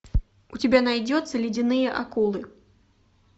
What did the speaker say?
у тебя найдется ледяные акулы